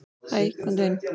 """Hæ, komdu inn."""